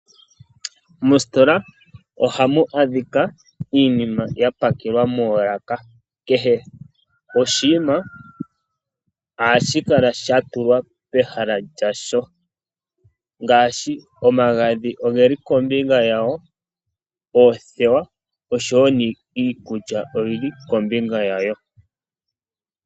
Mositola ohamu adhika iinima ya pakelwa moolaka. Kehe oshinima ohashi kala sha tulwa pehala lyasho ngaashi omagadhi ogeli kombinga yawo, oothewa oshowo iikulya oyili kombinga yawo.